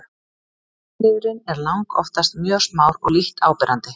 kynliðurinn er langoftast mjög smár og lítt áberandi